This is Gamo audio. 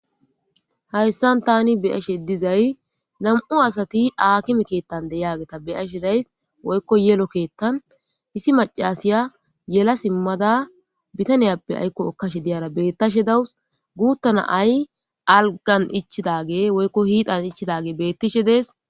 hayssan tani biyashe dizay nam7u asati aakime keettan deyaageta beyashe days woykko yelo keettan issi macasiya yela simmada bitaniyappe aykko okkashe diyara bettashe dawus guuttana ay algan ichidage woykko hiidan ichidage bettishe dees